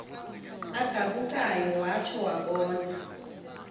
agabukayo watsho wabona